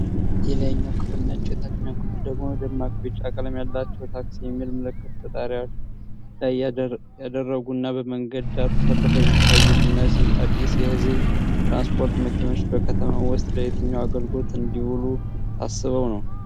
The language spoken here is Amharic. የላይኛው ክፍል ነጭ፣ የታችኛው ክፍል ደግሞ ደማቅ ቢጫ ቀለም ያላቸው፣ "TAXI" የሚል ምልክት በጣሪያቸው ላይ ያደረጉና በመንገድ ዳር ተሰልፈው የሚታዩት እነዚህ አዲስ የሕዝብ ትራንስፖርት መኪኖች፣ በከተማ ውስጥ ለየትኛው አገልግሎት እንዲውሉ ታስበው ነው?